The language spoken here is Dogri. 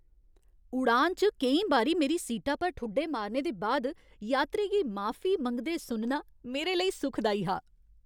उड़ान च केईं बारी मेरी सीटा पर ठुड्डे मारने दे बाद यात्री गी माफी मंगदे सुनना मेरे लेई सुखदाई हा।